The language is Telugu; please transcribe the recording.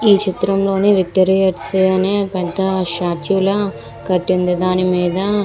ఈ చిత్రం లో ని విక్టోరియర్స్ అని పెద్ద స్టాట్యూయే ల కట్టి ఉంది దాని మీద --